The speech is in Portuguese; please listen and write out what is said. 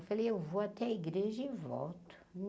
Eu falei, eu vou até a igreja e volto.